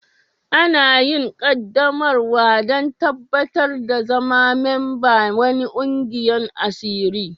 Ana yin qaddamarwa dan tabatar da zama memba'n wani kwigiyan asiri.